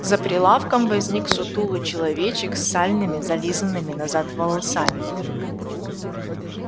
за прилавком возник сутулый человечек с сальными зализанными назад волосами